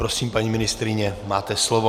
Prosím, paní ministryně, máte slovo.